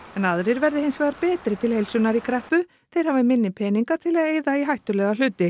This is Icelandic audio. en aðrir verði hins vegar betri til heilsunnar í kreppu þeir hafi minni peninga til að eyða í hættulega hluti